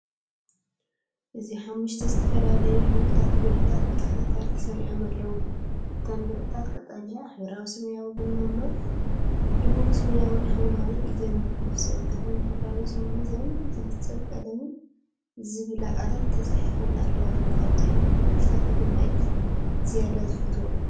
እዚ ሓሙሽተ ዝተፈላለዩ ሕብራዊ ብርዒታት ብተከታታሊ ተሰሪዖም ኣለዉ። እተን ብርዒታት ቀጠልያ፡ ሕብራዊ ሰማያዊ፡ ቡናዊ፡ ድሙቕ ሰማያዊን ሐምላይን እየን። ነፍሲ ወከፈን "ሕብራዊ ስምዒት"ን "ዝሕጸብ ቀለም"ን ዝብላ ቃላት ተጻሒፈን ኣለዋ። ካብዞም ሕብርታት ኣየናይ እዩ ዝያዳ ዝፈትዎ?